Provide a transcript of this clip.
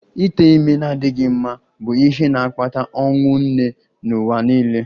Ite ime na-adịghị mma bụ ihe na-akpata ọnwụ nne n'ụwa niile